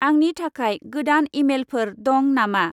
आंनि थाखाय गोदान इमेइलफोर दं नामा?